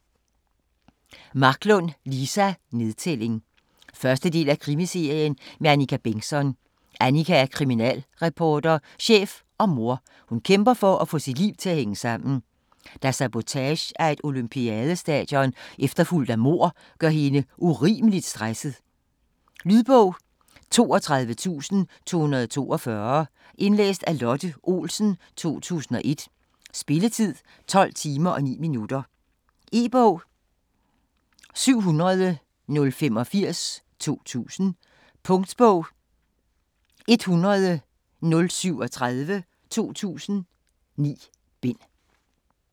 Marklund, Liza: Nedtælling 1. del af Krimiserien med Annika Bengtzon. Annika er kriminalreporter, chef og mor. Hun kæmper for at få sit liv til at hænge sammen, da sabotage af et olympiadestadion efterfulgt af mord gør hende urimeligt stresset. Lydbog 32242 Indlæst af Lotte Olsen, 2001. Spilletid: 12 timer, 9 minutter. E-bog 700085 2000. Punktbog 100037 2000. 9 bind.